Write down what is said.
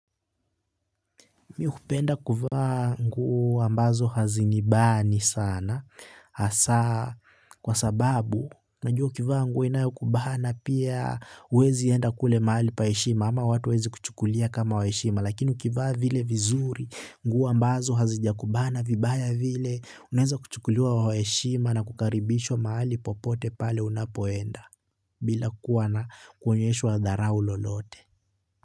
Mimi hupenda kuvaa nguo ambazo hazinibani sana hasa kwa sababu najua ukivaa nguo inayo kubana pia huwezi enda kule mahali pa heshima ama watu waweze kuchukulia kama wa heshima lakini ukivaa vile vizuri nguo ambazo hazijakubana vibaya vile unaweza kuchukuliwa wa heshima na kukaribishwa mahali popote pale unapoenda bila kuwa na kuonyeshwa dharau lolote.